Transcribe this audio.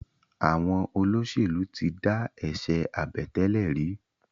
Àwọn olóṣèlú tí dá eṣe Àbẹ̀tẹ́lẹ̀ rí.